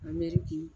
A mɛri k'i